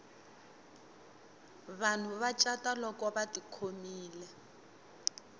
vanhu va cata lolko vati khomile